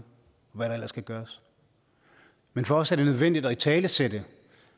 hvad der ellers kan gøres men for os er det nødvendigt at italesætte